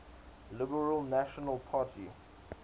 liberal national party